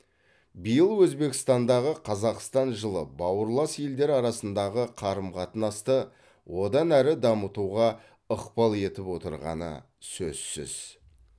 биыл өзбекстандағы қазақстан жылы бауырлас елдер арасындағы қарым қатынасты одан әрі дамытуға ықпал етіп отырғаны сөзсіз